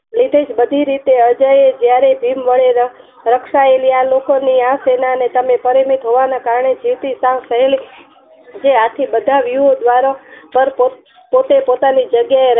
નીતિ બધી રીતે અજય જ્યારે ભીમ વડે રકસાયેલી આ લોકો ની આ સેનાને તમે પરિમિત હોવાને કારણે જેથી સ કરેલી જે આથી બધા પ્યુ દ્વારા પર પોતે પોતાની જગ્યાએ